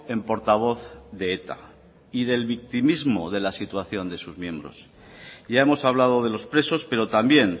en portavoz de eta y del victimismo de la situación de sus miembros ya hemos hablado de los presos pero también